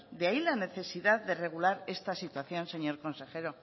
de ahí la necesidad de regular esta situación señor consejero